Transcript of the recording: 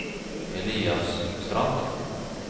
Elias Strand